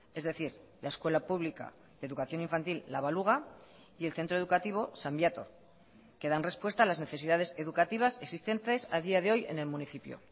es decir la escuela pública de educación infantil la baluga y el centro educativo san viator que dan respuesta a las necesidades educativas existentes a día de hoy en el municipio